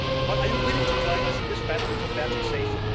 But are you willing to join us in this battle for fair taxation?